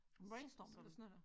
Brainstorm eller sådan noget der